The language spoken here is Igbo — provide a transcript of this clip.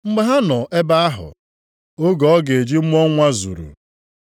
Mgbe ha nọ ebe ahụ, oge ọ ga-eji mụọ nwa ya zuru.